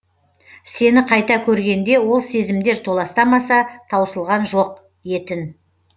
сені қайта көргенде ол сезімдер толастамаса таусылған жоқ етін